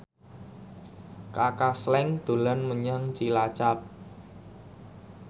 Kaka Slank dolan menyang Cilacap